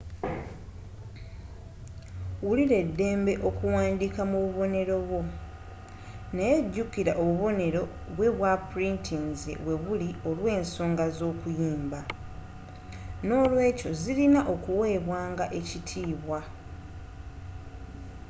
wulira eddembe okuwandiika mu bubonero bwo naye jukira obubonero bwe ba purintinze webuli olw'ensonga z'okuyimba nolwekyo zirina okuwebwa nga ekitiibwa